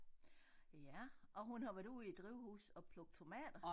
Ja og hun har været ude i drivhus og plukke tomater